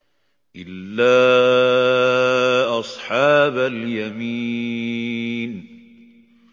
إِلَّا أَصْحَابَ الْيَمِينِ